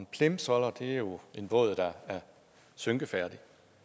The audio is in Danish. plimsoller er jo en båd der er synkefærdig